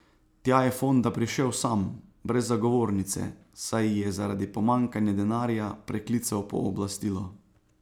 Tja je Fonda prišel sam, brez zagovornice, saj ji je zaradi pomanjkanja denarja preklical pooblastilo.